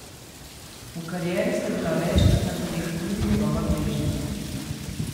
V karieri sta bila večkrat na tapeti tudi njegova gležnja.